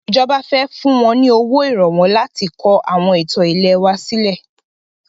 Ìjọba fẹ fún wọn ní owó Ìrànwọ́ láti kọ àwọn ìtàn ilẹ̀ wa sílẹ̀